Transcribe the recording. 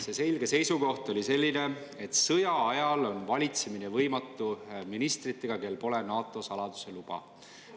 See selge seisukoht oli selline, et sõjaajal on valitsemine võimatu ministritega, kellel pole NATO saladuse luba.